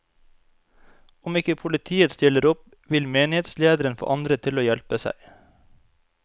Om ikke politiet stiller opp, vil menighetslederen få andre til å hjelpe seg.